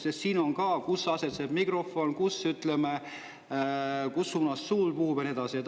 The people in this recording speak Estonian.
Sest siin on ka, kus asetseb mikrofon, kus suunas tuul puhub ja nii edasi.